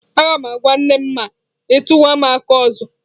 Agam agwa nnem ma i tukwa m aka ozo.